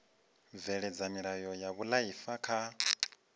bveledza milayo ya vhuifari kha